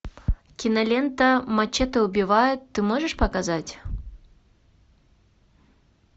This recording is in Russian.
кинолента мачете убивает ты можешь показать